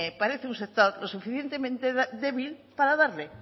parece un sector suficientemente débil para darle